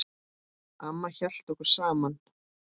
Amma hélt okkur saman.